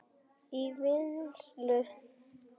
í vinnslu